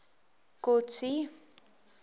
kotsi